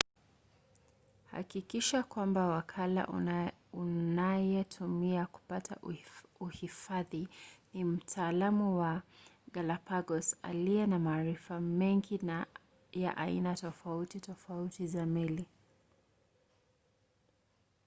hakikisha kwamba wakala unayetumia kupata uhifadhi ni mtaalamu wa galapagos aliye na maarifa mengi ya aina tofauti tofauti za meli